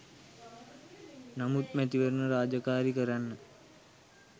නමුත් මැතිවරණ රාජකාරි කරන්න